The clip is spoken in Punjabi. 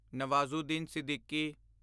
ਨਵਾਜ਼ੂਦੀਨ ਸਿੱਦੀਕੀ